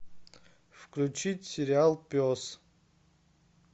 включить сериал пес